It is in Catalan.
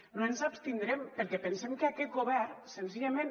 no ens abstindrem perquè pensem que aquest govern senzillament